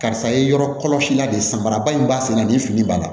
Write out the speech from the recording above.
Karisa ye yɔrɔ kɔlɔsi la de sanbarabaa in b'a senna nin fini b'a la